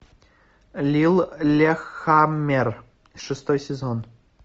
лиллехаммер шестой сезон